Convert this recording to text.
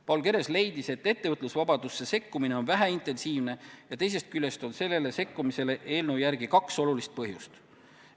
Paul Keres leidis, et ettevõtlusvabadusse sekkumine on väheintensiivne ja teisest küljest on sellele sekkumisele eelnõu järgi kaks olulist põhjendust.